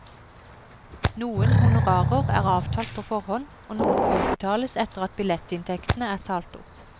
Noen honorarer er avtalt på forhånd, og noen utbetales etter at billettinntektene er talt opp.